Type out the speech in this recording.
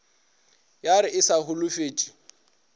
ya re e sa holofetše